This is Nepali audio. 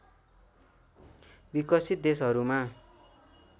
विकसित देशहरूमा